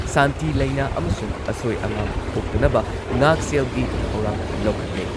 ꯁꯥꯟꯇꯤ ꯂꯩꯅ ꯑꯃꯁꯨꯡ ꯑꯁꯣꯏ ꯑꯉꯥꯝ ꯊꯣꯛꯇꯅꯕ ꯉꯥꯛꯁꯦꯜꯒꯤ ꯊꯧꯔꯥꯡ ꯂꯧꯈꯠꯂꯦ꯫